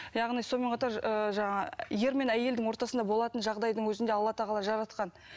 яғни сонымен қатар ыыы жаңағы ер мен әйелдің ортасында болатын жағдайдың өзін де алла тағала жаратқан